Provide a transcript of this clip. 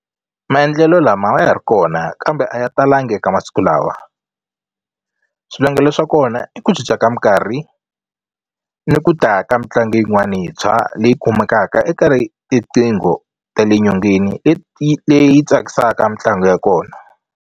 Maendlelo lama ya ri kona kambe a yi talangi eka masiku lawa swivangelo swa kona i ku cinca ka minkarhi ni ku ta ka mitlangu yin'wani yintshwa leyi kumekaka eka tiqingho ta le nyongeni leti leyi tsakisaka mitlangu ya kona.